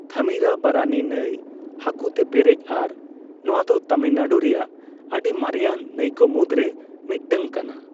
ᱛᱷᱟᱢᱤᱨᱟᱵᱟᱨᱟᱱᱤ ᱱᱟᱹᱭ ᱦᱟᱠᱳᱛᱮ ᱯᱮᱨᱮᱡ ᱟᱨ ᱱᱚᱣᱟ ᱫᱚ ᱛᱟᱢᱤᱞᱱᱟᱲᱩ ᱨᱮᱭᱟᱜ ᱟᱰᱤ ᱢᱟᱨᱮᱭᱟᱱ ᱱᱟᱹᱭᱠᱚ ᱢᱩᱫᱽᱨᱮ ᱢᱤᱫᱴᱟᱝ ᱠᱟᱱᱟ ᱾